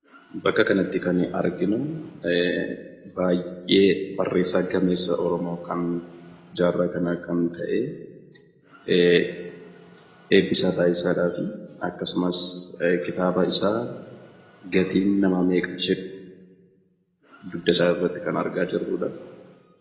Bakka kanatti kan arginu baay'ee barreessaa gameessa Oromoo jaarraa kan ta'e Eebbisaa Baay'isaa dhaafi akkasumas kitaaba isaa 'Gatiin namaa meeqa' jedhu dugda isaa irratti kan argaa jiirrudha.